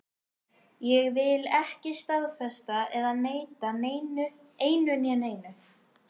Ég vil ekki staðfesta eða neita einu né neinu.